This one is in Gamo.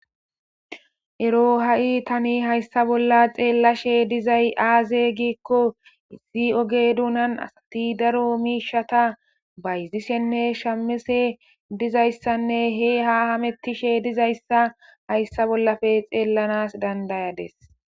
ero ha'i tani hayssa bolla xeellashshe dizay aaze giikko issi oge dunan asati daro miishata bayzishenne shamishe dizayssanne he ha hamettishe dizayssa hayssa bollafe xeellanas dandayadis